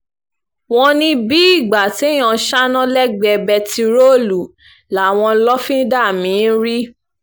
wọ́n ní bíi ìgbà téèyàn ń ṣáná lẹ́gbẹ̀ẹ́ bẹntiróòlù làwọn lọ́fíńdà mí-ín rí